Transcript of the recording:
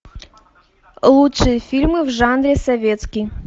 лучшие фильмы в жанре советский